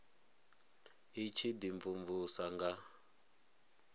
i tshi ḓi mvumvusa nga